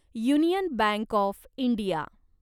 union bank of India